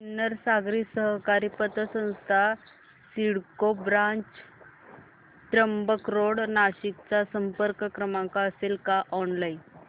Sinnar Nagari Sahakari Patsanstha CIDCO branch Trimbak road Nashik चा संपर्क क्रमांक असेल का ऑनलाइन